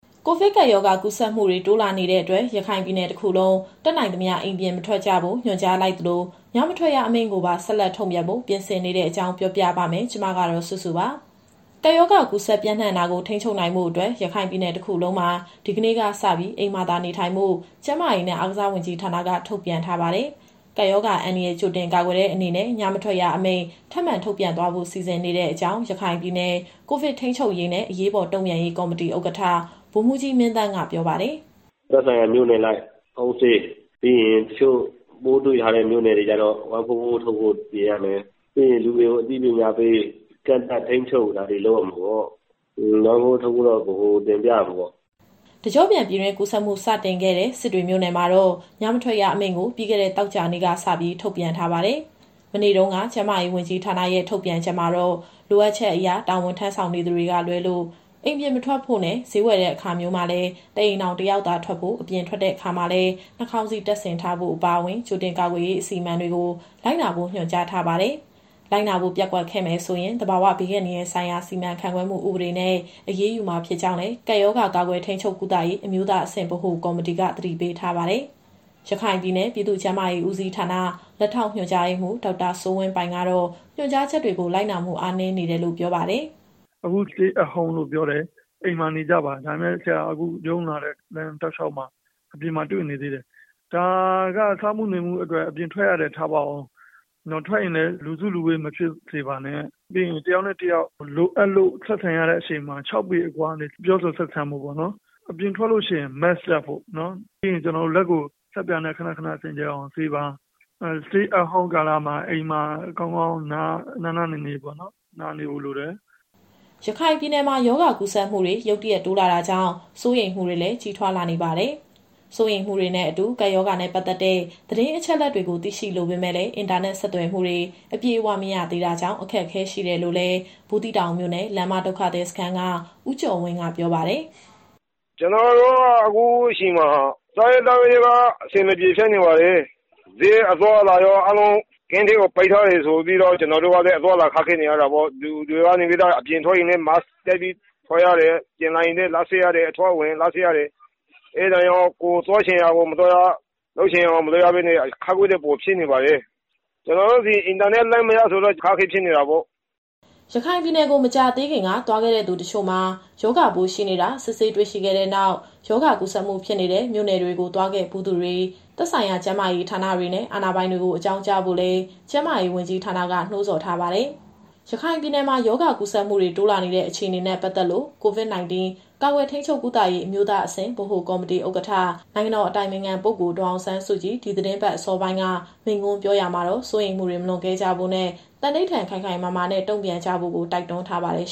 ကိုဗစ်ကပ်ရောဂါ ကူးစက်မှုတွေ တိုးလာနေတဲ့အတွက် ရခိုင်ပြည်နယ်တခုလုံး တတ်နိုင်သမျှ အိမ်ပြင်မထွက်ကြဖို့ ညွှန်ကြားလိုက်သလို ညမထွက်ရအမိန့်ကိုပါ ဆက်လက်ထုတ်ပြန်ဖို့ ပြင်ဆင်နေတဲ့အကြောင်း ပြောပြပါမယ်။ ဒီသတင်းကို ဗွီအိုအေမြန်မာပိုင်း သတင်းထောက်စုစုက တင်ဆက်ပေးပါမယ်။ ကပ်ရောဂါကူးစက်ပျံ့နှံ့တာကို ထိန်းချုပ်နိုင်ဖို့အတွက် ရခိုင်ပြည်နယ်တခုလုံးမှာ ဒီကနေ့ကစပြီး အိမ်မှာသာ နေထိုင်ဖို့ ကျန်းမာရေးနဲ့ အားကစားဝန်ကြီးဌာနက ထုတ်ပြန်ထားပါတယ်။ ကပ်ရောဂါအန္တရာယ် ကြိုတင်ကာကွယ်တဲ့ အနေနဲ့ ညမထွက်ရအမိန့် ထပ်မံထုတ်ပြန်သွားဖို့ စီစဉ်နေတဲ့အကြောင်း ရခိုင်ပြည်နယ် ကိုဗစ်ထိန်းချုပ်ရေးနဲ့ အရေးပေါ်တုံ့ပြန်ရေး ကော်မတီဥက္ကဋ္ဌ ဗိုလ်မှူးကြီးမင်းသန်းက ပြောပါတယ်။ “သက်ဆိုင်ရာမြို့နယ်အလိုက် Home Stay။ ပြီးရင် တချို့ပိုးတွေ့ထားတဲ့မြို့နယ်တွေကျတော့ ၁၄၄ ထုတ်ဖို့ပြင်ရမယ်။ ပြီးရင် လူတွေကိုအသိပညာပေး ကန့်သတ်ထိန်းချုပ်တာတွေ လုပ်ရမှာပေါ့။ ၁၄၄ ထုတ်ဖို့က ဗဟိုကိုတင်ပြရမှာပေါ့။” တကျော့ပြန်ပြည်တွင်းကူးစက်မှု စတင်ခဲ့တဲ့ စစ်တွေမြို့နယ်မှာတော့ ညမထွက်ရအမိန့်ကို ပြီးခဲ့တဲ့ သောကြာနေ့ကစပြီး ထုတ်ပြန်ထားပါတယ်။ မနေ့တုန်းက ကျန်းမာရေးဝန်ကြီးဌာနရဲ့ ထုတ်ပြန်ချက်မှာတော့ လိုအပ်ချက်အရ တာဝန်ထမ်းဆောင်နေသူတွေက လွဲလို့ အိမ်ပြင်မထွက်ဖို့နဲ့ ဈေးဝယ်တဲ့ အခါမျိုးမှာလည်း တအိမ်ထောင်တယောက်သာ ထွက်ဖို့ အပြင်ထွက်တဲ့ အခါမှာလည်း နှာခေါင်းစည်းတပ်ဆင်ထားဖို့ အပါအဝင် ကြိုတင်ကာကွယ်ရေး အစီအမံတွေကို လိုက်နာဖို့ ညွှန်ကြားထားပါတယ်။ လိုက်နာဖို့ ပျက်ကွက်ခဲ့မယ်ဆိုရင် သဘာဝဘေးအန္တရာယ်ဆိုင်ရာ စီမံခန့်ခွဲမှု ဥပဒေနဲ့ အရေးယူမှာဖြစ်ကြောင်းလည်း ကပ်ရောဂါကာကွယ်ထိန်းချုပ် ကုသရေး အမျိုးသားအဆင့်ဗဟိုကော်မတီက သတိပေးထားပါတယ်။ ရခိုင်ပြည်နယ် ပြည်သူ့ကျန်းမာရေးဦးစီးဌာန လက်ထောက်ညွှန်ကြားရေးမှူး ဒေါက်တာစိုးဝင်းပိုင်ကတော့ ညွှန်ကြားချက်တွေကို လိုက်နာမှု အားနည်းနေတယ်လို့ ပြောပါတယ်။ “အခု Stay at Home လို့ပြောတယ်၊ အိမ်မှာနေကြပါ။ ဒါပေမဲ့ ဆရာအခုရုံးလာတဲ့ လမ်းတောက်လျှောက်မှာ အပြင်မှာတွေ့နေသေးတယ်။ ဒါက စားမှုနေမှုအတွက် အပြင်ထွက်ရတယ်ထားပါဦး။ ထွက်ရင်လည်း လူစုလူဝေးမဖြစ်စေပါနဲ့။ ပြီးရင်တယောက်နဲ့တယောက် လိုအပ်လို့ဆက်ဆံရတဲ့အချိန်မှာ ၆ပေအကွာကနေ ပြောဆိုဆက်ဆံဖို့ပေါ့နော်။ အပြင်ထွက်လို့ရှိရင် Mask တပ်ဖို့နော်။ ပြီးရင် လက်ကိုဆပ်ပြာနဲ့ ခဏခဏစင်ကြယ်အောင် ဆေးပါ။ Stay at Home ကာလမှာ အိမ်မှာကောင်းကောင်း နားနေဖို့လိုတယ်။” ရခိုင်ပြည်နယ်မှာ ရောဂါကူးစက်မှုတွေ ရုတ်တရက် တိုးလာတာကြောင့် စိုးရိမ်မှုတွေလည်း ကြီးထွားလာနေပါတယ်။ စိုးရိမ်မှုတွေနဲ့အတူ ကပ်ရောဂါနဲ့ ပတ်သက်တဲ့ သတင်းအချက်အလက်တွေကို သိရှိလိုပေမဲ့လည်း အင်တာနက်ဆက်သွယ်မှုတွေ အပြည့်အဝမရသေးတာကြောင့် အခက်အခဲ ရှိနေတယ်လို့လည်း ဘူးသီးတောင်မြို့နယ် လမ်းမဒုက္ခသည်စခန်းက ဦးကျော်ဝင်းက ပြောပါတယ်။ “ကျနော်တို့က အခုချိန်မှာ စားရေးသောက်ရေးက အဆင်မပြေဖြစ်နေပါတယ်။ ဈေးအသွားအလာရော အားလုံး Camp တွေပါ ပိတ်ထားတယ်ဆိုပြီးတော့ သူတို့ကလည်း အသွားအလာခက်ခဲနေရတာပေါ့။ အပြင်ထွက်ရင်လည်း Mask တပ်ပြီးထွက်ရတယ်။ ပြန်လာရင်လည်း လက်ဆေးရတယ်၊ အဝင် အထွက် လက်ဆေးရတယ်။ အဲဒါကြောင့် ကိုယ်သွားချင်ရာကို မသွားရ၊ လုပ်ချင်ရာကို မလုပ်ရပဲနဲ့ အခက်အခဲတွေပိုဖြစ်နေပါတယ်။ ကျနော်တို့ဆီ အင်တာနက်လိုင်းမရဆိုတော့ အခက်အခဲဖြစ်နေတာပေါ့။” ရခိုင်ပြည်နယ်ကို မကြာသေးခင်က သွားခဲ့တဲ့သူ တချို့မှာ ရောဂါပိုးရှိနေတာ စစ်ဆေးတွေ့ရှိခဲ့တဲ့နောက် ရောဂါကူးစက်မှုဖြစ်နေတဲ့ မြို့နယ်တွေကို သွားဖူးတဲ့သူတွေ သက်ဆိုင်ရာ ကျန်းမာရေးဌာနတွေနဲ့ အာဏာပိုင်တွေကို အကြောင်းကြားဖို့လည်း ကျန်းမာရေးဝန်ကြီးဌာနက နှိုးဆော်ထားပါတယ်။ ရခိုင်ပြည်နယ်မှာ ရောဂါကူးစက်မှုတွေ တိုးလာတဲ့ အခြေအနေနဲ့ ပတ်သက်လို့ COVID-19 ကာကွယ်၊ ထိန်းချုပ်၊ ကုသရေး အမျိုးသားအဆင့် ဗဟိုကော်မတီဥက္ကဋ္ဌ နိုင်ငံတော်အတိုင်ပင်ခံပုဂ္ဂိုလ် ဒေါ်အောင်ဆန်းစုကြည် ဒီသီတင်းပတ် အစောပိုင်းက မိန့်ခွန်းပြောရာမှာတော့ စိုးရိမ်မှုတွေ မလွန်ကဲကြဖို့နဲ့ သန္နိဋ္ဌာန် ခိုင်ခိုင်မာမာနဲ့တုံ့ပြန်ကြဖို့ တိုက်တွန်းထားပါတယ်